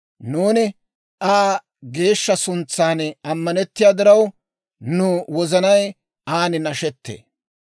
Nuuni Aa geeshsha suntsan ammanettiyaa diraw, nu wozanay an nashettee.